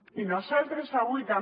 i nosaltres avui també